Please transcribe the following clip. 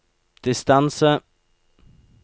distance